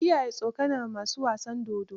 Ka kiyayi tsokanar masu wasan dodo.